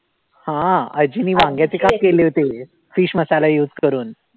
हा आजींनी वांग्याचे काप केले होते fish मसाला use करून